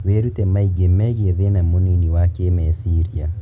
Wĩrute maingĩ megiĩ thĩna mũnini wa kĩmeciria